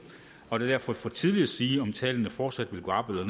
og det er derfor for tidligt at sige om tallene fortsat vil gå op eller